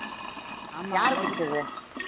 யாரு குடிச்சது